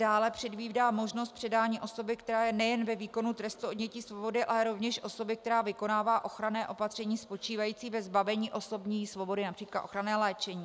Dále předvídá možnost předání osoby, která je nejen ve výkonu trestu odnětí svobody, ale rovněž osoby, která vykonává ochranné opatření spočívající ve zbavení osobní svobody, například ochranné léčení.